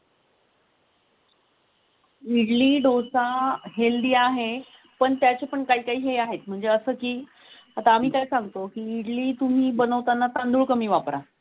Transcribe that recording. इडली, डोसा अह हेल्दी आहे पण त्याची पण काही हे आहेत म्हणजे असं की आता आम्ही सांगतो इडली तुम्ही बनवताना तांदूळ कमी वापरा.